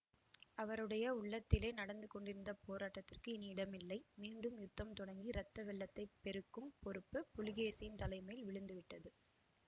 அவருடைய உள்ளத்திலே நடந்து கொண்டிருந்த போராட்டத்திற்கு இனி இடமில்லை மீண்டும் யுத்தம் தொடங்கி இரத்த வெள்ளத்தைப் பெருக்கும் பொறுப்பு புலிகேசியின் தலை மேல் விழுந்து விட்டது